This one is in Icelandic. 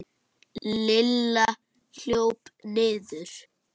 Lilla hljóp niður.